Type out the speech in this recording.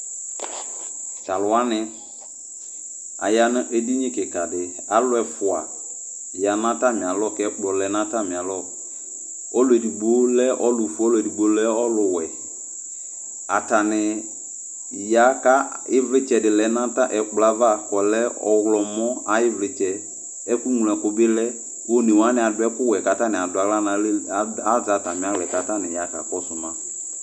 Talʋwani, aya nʋ eɖini kikaɖi Aalʋ ɛfua ya n'atamialɔ k'ɛkplɔ lɛ n'atamialɔƆlʋɛɖigbo lɛ ɔlʋ fue, ɛɖigbbo lɛ ɔlʋ wuɛAtani ya k'ɛvlitsɛɖi lɛ nʋ ɛkplɔ kɔlɛ ɔɣlɔmɔ ayiivlitsɛ, ɛkʋ ɣlo ɛkʋbi lɛOnewani aɖʋ ɛkʋwuɛ k'atani azɛ atamia ya k'akɔsʋ ma